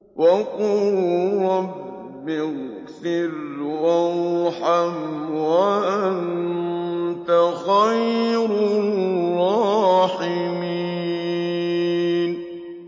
وَقُل رَّبِّ اغْفِرْ وَارْحَمْ وَأَنتَ خَيْرُ الرَّاحِمِينَ